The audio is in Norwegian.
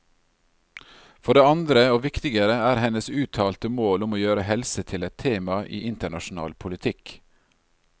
For det andre, og viktigere, er hennes uttalte mål om å gjøre helse til et tema i internasjonal politikk.